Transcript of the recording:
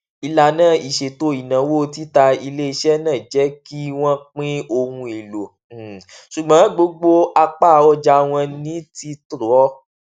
ìlànà ìṣètò ináwó tita iléiṣẹ náà jẹ kí wọn pín ohun èlò um sí gbogbo apá ọja wọn ní títọ